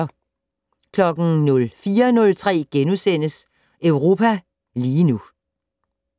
04:03: Europa lige nu *